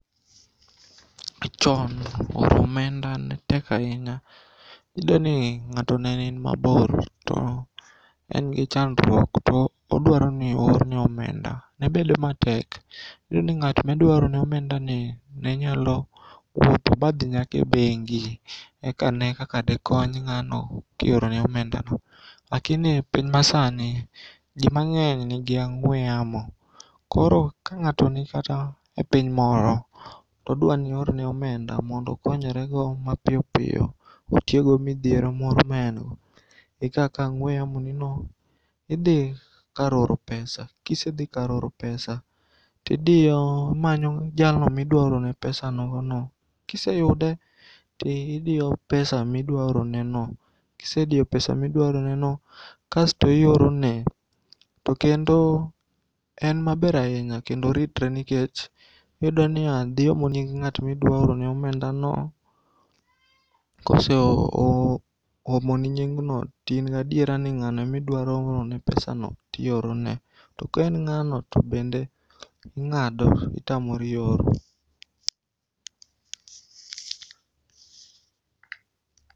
Chon oro omenda netek ainya. Iyudoni ng'ato nenin mabor to engi chandruok to odwaroni oorne omenda, nebedo matek. Niyudoni ng'at midwaorone omendani nenyalo wuotho ba dhi nyaka e bengi eka ne kaka de kony ng'ano kiorone omendano lakini piny masani jii mang'eny nigi ang'ue yamo koro ka ng'ato ni kata e piny moro todwanioorne omenda mondo okonyrego mapiyopiyo otiekgo midhiero moro maengo, ikawakawa ang'ue yamonino tidhii kar oro pesa kisedhi kar oro pesa tidiyo, imanyo jalno ma idwaorone pesa nogono. Kiseyude to idio pesa ma idwaoroneno .Kisedio pesa midwaoroneno kasto iorone to kendo en maber ainya kendo oritre nikech iyudonia dhiomo nying ng'atmiduaorone omendano. Koseomoni nyingno tingadiera ni ng'ano emiduaoroorone pesa no tiorone to ka en ng'ano to bende ing'ado itamori oro.